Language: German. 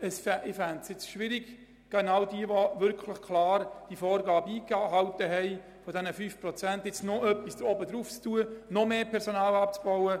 Ich fände es schwierig, von denjenigen, die genau diese Vorgabe eingehalten haben, noch mehr zu verlangen, also zu verlangen, dass sie noch mehr Personal abbauen.